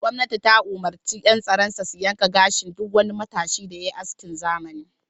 Gwamnati ta umurci yan tsaro sa su yanka gashin duk wani matashin da yayi askin zamani.